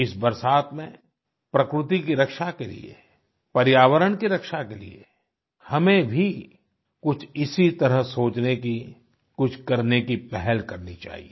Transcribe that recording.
इस बरसात में प्रकृति की रक्षा के लिए पर्यावरण की रक्षा के लिए हमें भी कुछ इसी तरह सोचने की कुछ करने की पहल करनी चाहिए